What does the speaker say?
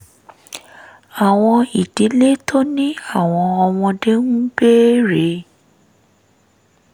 àwọn ìdílé tó ní àwọn ọmọdé ń béèrè